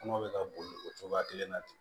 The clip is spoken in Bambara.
Kɔnɔ bɛ ka boli o cogoya kelen na ten